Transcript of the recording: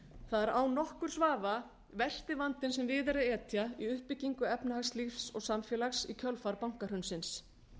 er án nokkurs vafa versti vandinn sem við er að etja í uppbyggingu efnahagslífs og samfélags í kjölfar bankahrunsins